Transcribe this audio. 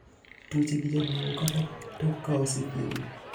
Tuoche gi jaduogo kata tok kaose thiedhgi.